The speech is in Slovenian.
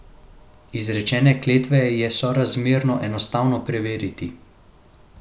Izrečene klevete je sorazmerno enostavno preveriti.